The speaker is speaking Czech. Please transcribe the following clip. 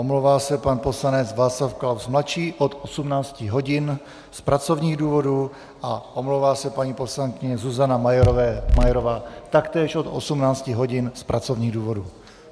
Omlouvá se pan poslanec Václav Klaus mladší od 18 hodin z pracovních důvodů a omlouvá se paní poslankyně Zuzana Majerová taktéž od 18 hodin z pracovních důvodů.